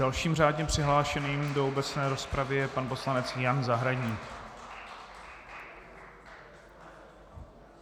Dalším řádně přihlášeným do obecné rozpravy je pan poslanec Jan Zahradník.